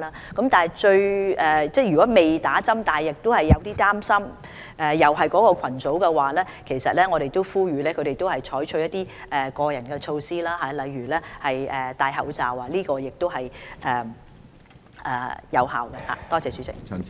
屬目標群組的人士，如果尚未接種疫苗而又擔心受到感染，我呼籲他們採取個人措施，例如戴口罩，這也是有效的預防措